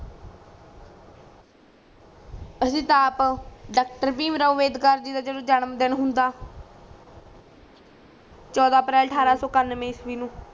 ਅਸੀ ਤਾ ਆਪ ਡਾਕਟਰ ਭੀਮ ਰਾਵ ਅੰਬੇਡਕਰ ਜੀ ਦਾ ਜਦੋ ਜਨਮਦਿਨ ਹੁੰਦਾ ਚੋਦਾ ਅਪ੍ਰੈਲ ਠਾਰਸੋ ਕਨਵੇ ਇਸ਼ਵੀ ਨੂੰ